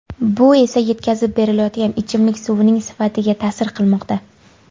Bu esa yetkazib berilayotgan ichimlik suvining sifatga ta’sir qilmoqda.